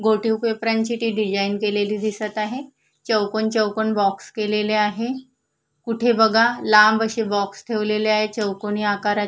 गोटीव पेपरां ची ती डिझाइन केलेली दिसत आहे चौकोन चौकोन बॉक्स केलेले आहे कुठे बघा लांब असे बॉक्स ठेवलेले आहेत चौकोनी आकारा --